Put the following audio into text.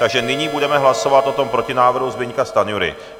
Takže nyní budeme hlasovat o tom protinávrhu Zbyňka Stanjury.